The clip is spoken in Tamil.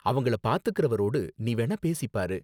அவங்கள பாத்துகிறவரோடு நீ வேணா பேசி பாரு.